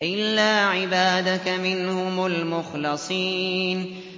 إِلَّا عِبَادَكَ مِنْهُمُ الْمُخْلَصِينَ